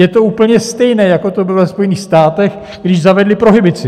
Je to úplně stejné, jako to bylo ve Spojených státech, když zavedli prohibici.